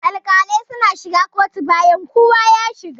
Alƙalai suna shiga kotu bayan kowa ya shiga.